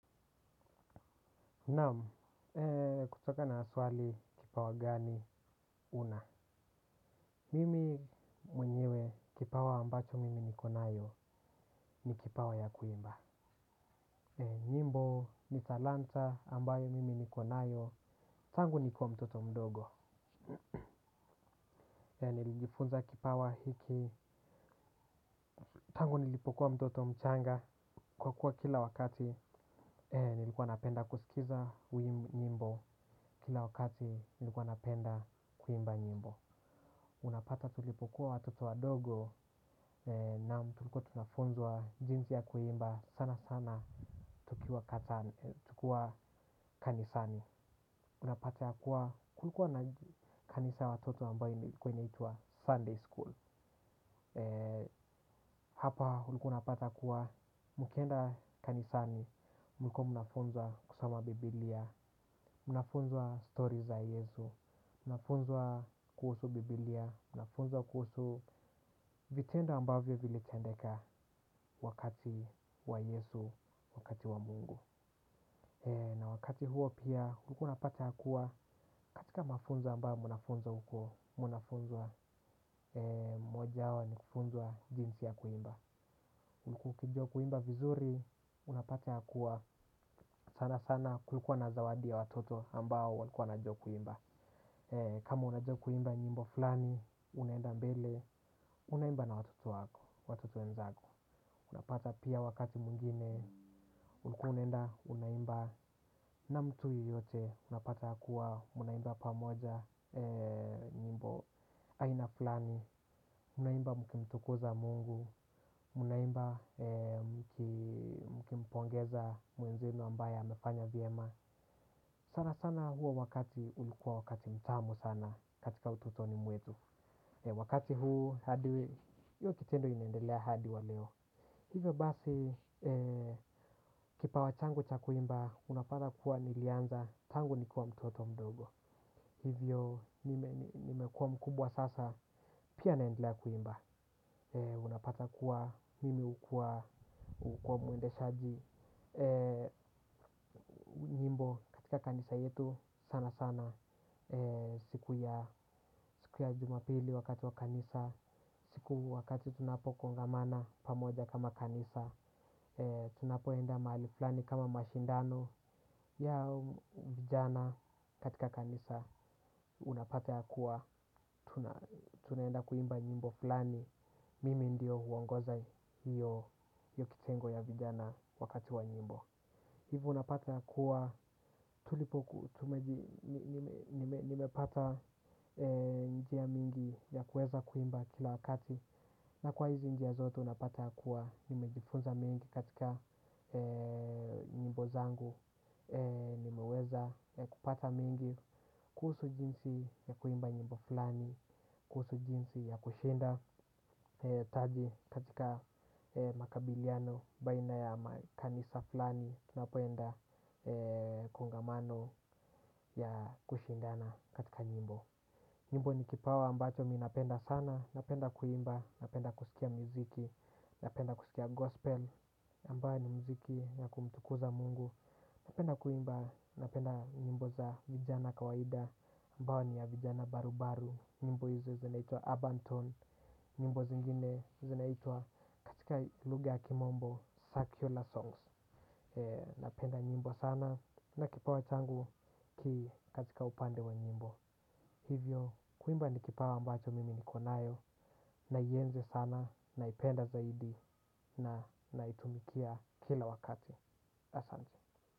Naam, kutoka na swali kipawa gani una. Mimi mwenyewe kipawa ambacho mimi niko nayo ni kipawa ya kuimba. Nyimbo ni talanta ambayo mimi niko nayo. Tangu nikiwa mtoto mdogo. Nilijifunza kipawa hiki. Tangu nilipokuwa mtoto mchanga kwa kuwa kila wakati nilikuwa napenda kusikiza wimbo. Kila wakati nilikuwa napenda kuimba nyimbo. Unapata tulipokuwa watoto wadogo naam tulikuwa tunafunzwa jinsi ya kuimba sana sana tukiwa kanisani. Unapata kuwa kulikuwa na kanisa ya watoto ambayo ilikuwa inaitwa Sunday School. Hapa ulikuwa unapata kuwa mkienda kanisani, mlikuwa mnafunzwa kusoma biblia, mnafunzwa stories za Yesu mnafunzwa kuhusu biblia, mnafunzwa kuhusu vitendo ambavyo vilitendeka. Wakati wa Yesu, wakati wa Mungu na wakati huo pia, ulikuwa unapata ya kuwa katika mafunzo ambayo mnafunzwa huko mnafunzwa moja wao ni kufunza jinsi ya kuimba. Ulikuwa ukijua kuimba vizuri, unapata ya kuwa sana sana kulikua na zawadi ya watoto ambao walikua wanajua kuimba. Kama unajua kuimba nyimbo fulani, unaenda mbele, unaimba na watoto wako, watoto wenzako. Unapata pia wakati mwingine, ulikuwa unaenda, unaimba na mtu yeyote unapata kuwa, mnaimba pamoja, nyimbo aina fulani. Unaimba mkimtukuza mungu, mnaimba mkimpongeza mwenzilo ambaye amefanya vyema. Sana sana huo wakati ulikuwa wakati mtamu sana katika utotoni mwetu. Wakati huu, hiyo kitendo inaendelea hadi wa leo. Hivyo basi, kipawa changu cha kuimba, unapata kuwa nilianza, tangu nikiwa mtoto mdogo. Hivyo, nimekuwa mkubwa sasa, pia naendelea kuimba. Unapata kuwa, mimi hukua, hukua mwendeshaji. Nyimbo katika kanisa yetu sana sana. Siku ya jumapili wakati wa kanisa, siku wakati tunapo kongamana pamoja kama kanisa. Tunapoenda mahali fulani kama mashindano ya vijana katika kanisa. Unapata ya kuwa tunaenda kuimba nyimbo fulani. Mimi ndio huongoza hiyo kitengo ya vijana wakati wa nyimbo. Hivyo unapata ya kuwa tulipoku, nimepata njia mingi ya kuweza kuimba kila wakati. Na kwa hizi njia zote unapata ya kuwa nimejifunza mengi katika nyimbo zangu. Nimeweza kupata mengi, kuhusu jinsi ya kuimba nyimbo fulani, kuhusu jinsi ya kushinda taji katika makabiliano baina ya kanisa flani tunapoenda kongamano ya kushindana katika nyimbo. Nyimbo ni kipawa ambacho mi napenda sana. Napenda kuimba, napenda kusikia muziki. Napenda kusikia gospel ambayo ni muziki ya kumtukuza mungu. Napenda kuimba, napenda nyimbo za vijana kawaida ambayo ni ya vijana barubaru. Nyimbo hizo zinaitwa urbantone, nyimbo zingine zinaitwa katika lugha ya kimombo secular songs. Napenda nyimbo sana na kipawa changu kikatika upande wa nyimbo hivyo kuimba ni kipawa ambacho mimi niko nayo naienzi sana naipenda zaidi na naitumikia kila wakati, asante.